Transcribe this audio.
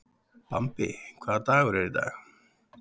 Bambi, hvaða dagur er í dag?